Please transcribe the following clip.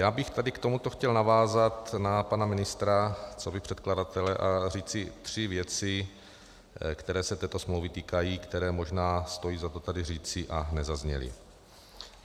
Já bych tady k tomuto chtěl navázat na pana ministra coby předkladatele a říci tři věci, které se této smlouvy týkají, které možná stojí za to tady říci a nezazněly.